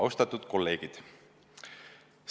Austatud kolleegid!